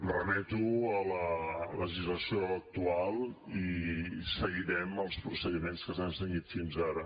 jo em remeto a la legislació actual i seguirem els procediments que s’han seguit fins ara